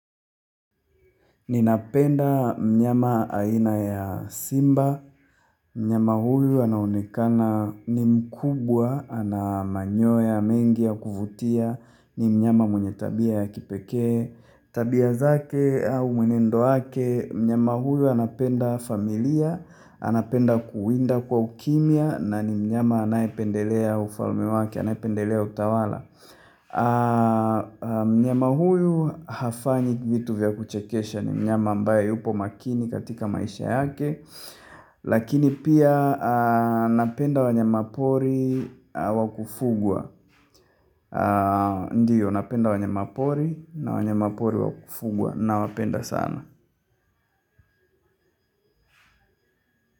Ninapenda mnyama aina ya simba, mnyama huyu anaonekana ni mkubwa, ana manyoya mengi ya kuvutia, ni mnyama mwenye tabia ya kipekee, tabia zake au mwenendo wake, mnyama huyu anapenda familia, anapenda kuwinda kwa ukimya, na ni mnyama anayependelea ufalme wake, anayependelea utawala. Mnyama huyu hafanyi vitu vya kuchekesha. Ni mnyama ambaye yupo makini katika maisha yake. Lakini pia napenda wanyamapori wa kufugwa Ndio napenda wanyamapori na wanyamapori wa kufugwa. Nawapenda sana.